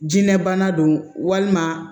Jinɛ bana don walima